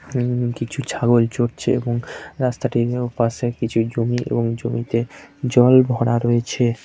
উম কিছু ছাগল চড়ছে | এবং রাস্তাটির পাশে কিছু জমি এবং জমিতে জল ভরা রয়েছে।